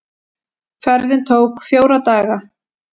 Ferðin tók fjóra daga.